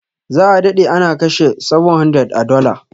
Za a dade ana kashe 700 a dollar.